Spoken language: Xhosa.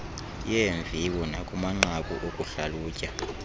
yeemviwo nakumanqaku okuhlalutya